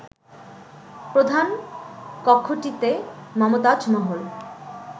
প্রধান কক্ষটিতে মমতাজ মহল